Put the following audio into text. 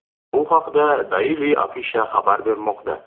Bu haqda Daily Afisha xabar bermoqda .